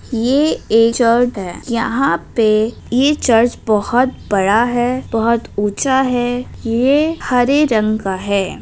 ये एक चर्च है यहाँ पे ये चर्च बहोत बड़ा है बहोत ऊंचा है ये हरे रंग का है।